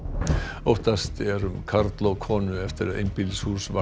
óttast er um karl og konu eftir að einbýlishús varð